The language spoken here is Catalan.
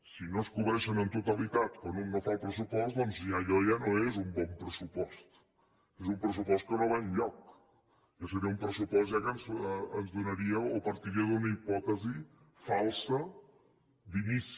si no es cobreixen en totalitat quan un fa el pressupost doncs allò ja no és un bon pressupost és un pressupost que no va enlloc ja seria un pressupost que ens donaria o partiria d’una hipòtesi falsa d’inici